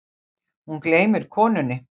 Hún gleymir konunni.